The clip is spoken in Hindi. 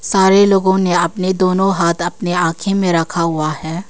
सारे लोगों ने अपने दोनों हाथ अपने आंख़ें में रखा हुआ है।